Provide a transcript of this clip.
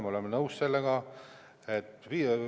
Me oleme sellega nõus.